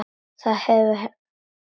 Það hefur hent fleiri.